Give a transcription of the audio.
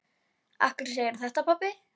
Af hverju segirðu þetta, pabbi?